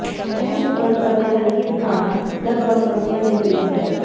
ਇਹ ਸੁਗੰਧ ਅਤੇ ਹਲਕੀ ਖਾਣਾ ਲਗਭਗ ਸਬਜ਼ੀਆਂ ਦੇ ਕਰੀਬ ਹੈ